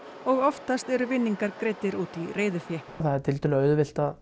og oftast eru vinningar greiddir út í reiðufé það er tiltölulega auðvelt að